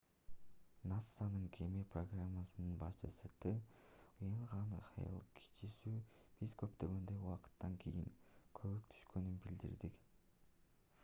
насанын кеме программасынын башчысы т уэйен хэйл кичүүсү биз кооптонгондон убакыттан кийин көбүк түшкөнүн билдирди